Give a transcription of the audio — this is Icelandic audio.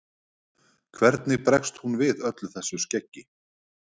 Hvernig bregst hún við öllu þessu skeggi?